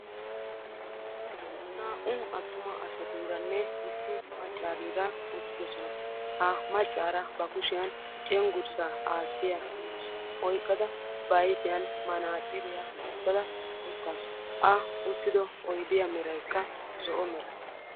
naa''u attuma asatuuranne issi maccaarira uttidoosona. ha maccaara ba ayfiyaan manaxxiriya wotada uttaasu, a wottido oyddiya meraykka zo''o.